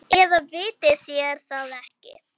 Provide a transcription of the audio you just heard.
Eða vitið þér það ekki.